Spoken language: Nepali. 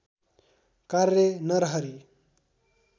कार्य नरहरि